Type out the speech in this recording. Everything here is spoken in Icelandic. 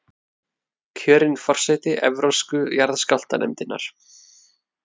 Kjörin forseti Evrópsku jarðskjálftanefndarinnar